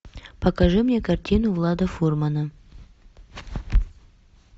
покажи мне картину влада фурмана